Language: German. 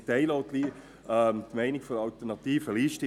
Ich teile auch die Meinung der Alternativen Liste.